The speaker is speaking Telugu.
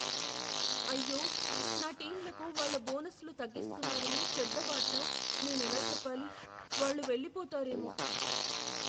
అయ్యో, నా టీంలకు వాళ్ళ బోనస్లు తగ్గిస్తున్నారని చెడ్డ వార్త నేనెలా చెప్పాలి? వాళ్ళు వెళ్లిపోతారేమో.